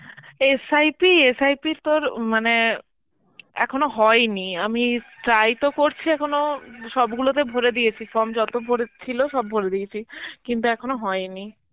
SIP , SIP তোর উম মানে এখনো হয়নি, আমি try তো করছি এখনও হম সবগুলোতে ভরে দিয়েছি form যত ভরে~ ছিল সব ভরে দিয়েছে, কিন্তু এখনো হয়নি.